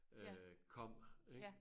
Øh kom ik